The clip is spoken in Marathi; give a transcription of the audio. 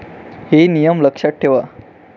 हे नियम लक्षात ठेवा.